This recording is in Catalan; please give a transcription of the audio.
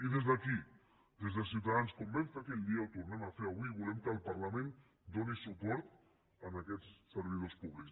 i des d’aquí des de ciutadans com ho vam fer aquell dia ho tornem a fer avui i volem que el parlament doni suport a aquests servidors públics